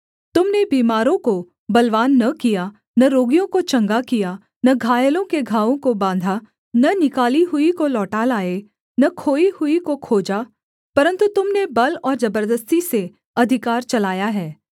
तुम ने बीमारों को बलवान न किया न रोगियों को चंगा किया न घायलों के घावों को बाँधा न निकाली हुई को लौटा लाए न खोई हुई को खोजा परन्तु तुम ने बल और जबरदस्ती से अधिकार चलाया है